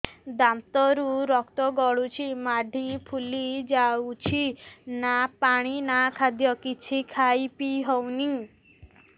ଦାନ୍ତ ରୁ ରକ୍ତ ଗଳୁଛି ମାଢି ଫୁଲି ଯାଉଛି ନା ପାଣି ନା ଖାଦ୍ୟ କିଛି ଖାଇ ପିଇ ହେଉନି